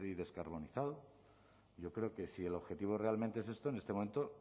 descarbonizado yo creo que si el objetivo realmente es esto en este momento